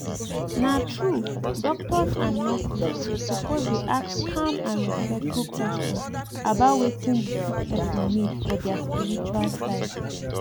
na true doctors and nurses suppose dey ask calm and respectful questions about wetin the sick person need for their spiritual side